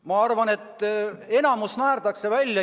Ma arvan, et enamik naerdakse välja.